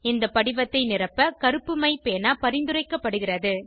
இந்த படிவத்தை நிரப்ப கருப்பு மை பேனா பரிந்துரைக்கப்படுகிறது